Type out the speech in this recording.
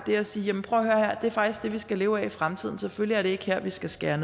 og sige prøv at vi skal leve af i fremtiden så selvfølgelig er det ikke her vi skal skære